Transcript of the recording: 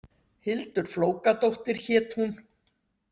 Hildur Flókadóttir hét hún.